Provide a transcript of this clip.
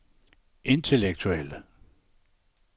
intellektuelle